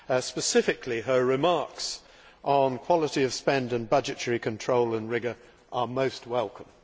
Specifically, her remarks on quality of spend and budgetary control and rigour are most welcome.